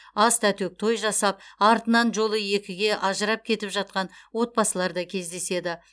ас та төк той жасап артынан жолы екіге ажырап кетіп жатқан отбасылар да кездеседі